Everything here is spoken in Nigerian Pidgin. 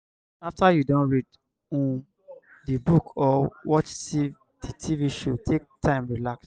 after you don read um di book or watch di tv show take time relax